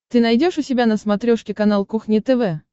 ты найдешь у себя на смотрешке канал кухня тв